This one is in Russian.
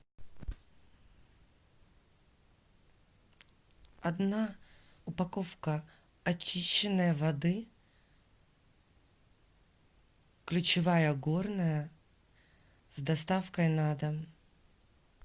одна упаковка очищенной воды ключевая горная с доставкой на дом